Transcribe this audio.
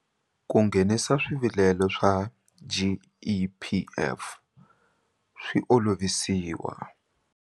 Ku nghenisa swivilelo swa GEPF swi olovisiwa.